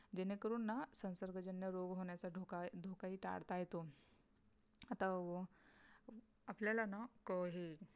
जेणेकरून ना संसर्गजन्य रोग होण्याचा धोका धोका ही टाळता येतो आता आपल्याला ना हे